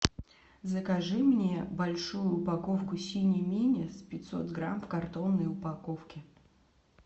закажи мне большую упаковку сини минис пятьсот грамм в картонной упаковке